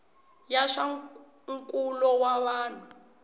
ya swa nkulo wa vanhu